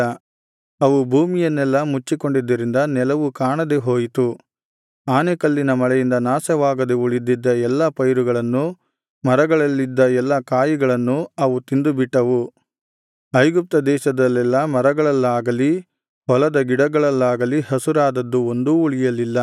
ಅವು ಭೂಮಿಯನ್ನೆಲ್ಲಾ ಮುಚ್ಚಿಕೊಂಡಿದ್ದರಿಂದ ನೆಲವು ಕಾಣದೇ ಹೋಯಿತು ಆನೆಕಲ್ಲಿನ ಮಳೆಯಿಂದ ನಾಶವಾಗದೆ ಉಳಿದಿದ್ದ ಎಲ್ಲಾ ಪೈರುಗಳನ್ನೂ ಮರಗಳಲ್ಲಿದ್ದ ಎಲ್ಲಾ ಕಾಯಿಗಳನ್ನೂ ಅವು ತಿಂದುಬಿಟ್ಟವು ಐಗುಪ್ತ ದೇಶದಲ್ಲೆಲ್ಲಾ ಮರಗಳಲ್ಲಾಗಲಿ ಹೊಲದ ಗಿಡಗಳಲ್ಲಾಗಲಿ ಹಸುರಾದದ್ದು ಒಂದೂ ಉಳಿಯಲಿಲ್ಲ